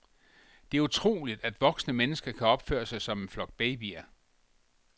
Det er utroligt, at voksne mennesker kan opføre sig som en flok babyer.